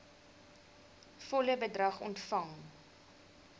volle bedrag ontvang